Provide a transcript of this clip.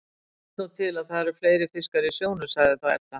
Það vill nú til að það eru fleiri fiskar í sjónum, sagði þá Edda.